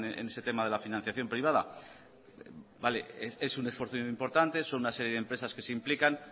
en ese tema de la financiación privada vale es un esfuerzo importante son una serie de empresas que se implican